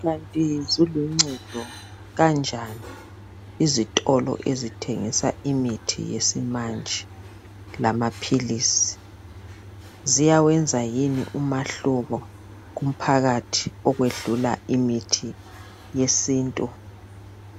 Kanti ziluncedo kanjani izitolo ezithengisa imithi yesimanje lamaphilizi, ziyawenza yini umahluko kumphakathi okwedlula imithi yesintu